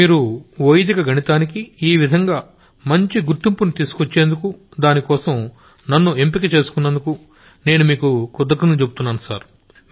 మీరు వైదిక గణితానికి ఈ విధంగా ఇప్పుడు గుర్తింపుని తీసుకొచ్చేందుకు దానికోసం నన్ను ఎంపిక చేసినందుకు నేను మీకు కృతజ్ఞతలు చెబుతున్నాను సర్